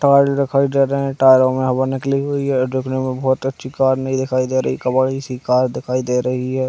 Tile दिखाई दे रहे है टायरों में हवा निकली हुई है और देखने में बहोत अच्छी कार नई दिखाई दे रही है जैसी कार दिखाई दे रही हैं ।